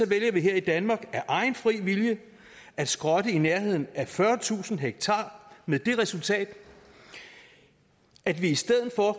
vælger vi her i danmark af egen fri vilje at skrotte i nærheden af fyrretusind ha med det resultat at vi i stedet for